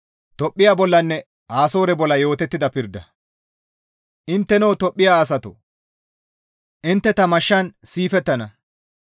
«Intteno Tophphiya asatoo! Intte ta mashshan siifettana.»